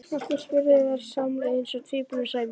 Af hverju? spurðu þær samtímis eins og tvíburum sæmir.